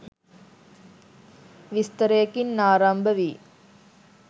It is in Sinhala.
විස්තරයකින් ආරම්භ වී